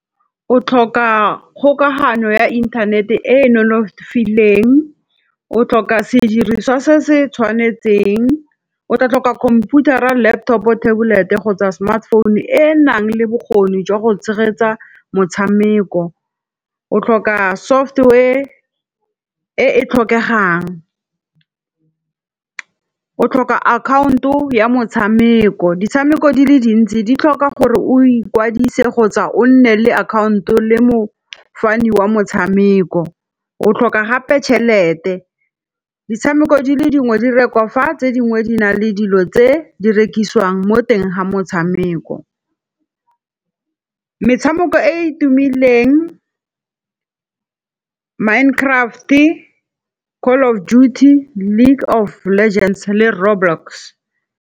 O tlhoka kgokagano ya internet e e nonofileng, o tlhoka sediriswa se se tshwanetseng, o tla tlhoka khomputara, laptopo, tabolete kgotsa smartphone e enang le bokgoni jwa go tshegetsa motshameko. O tlhoka software e e tlhokegang, o tlhoka account o ya motshameko, ditshameko di le dintsi di tlhoka gore o ikwadise kgotsa o nne le account o le mo fani wa motshameko, o tlhoka gape tshelete. Ditshameko di le dingwe direkwa fa tse dingwe di na le dilo tse di rekisiwang mo teng ga motshameko. Metshameko e e tumileng Mind Craft-e, Call of duty, League of legends le Roblox.